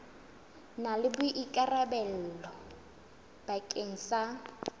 na le boikarabelo bakeng sa